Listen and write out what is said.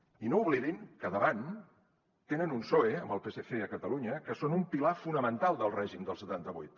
i no oblidin que davant tenen un psoe amb el psc a catalunya que són un pilar fonamental del règim del setanta vuit